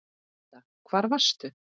Linda: Hvar varstu?